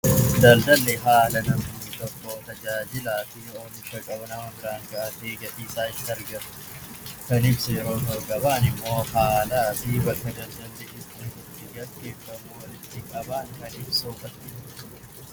Daldalli haala namni tokko tajaajilaa fi oomisha isaa gadhiisee kan ibsu yoo ta'u, gabaan immoo haalaa fi bakka daldalli itti gaggeeffamu walitti qabaman kan ibsudha.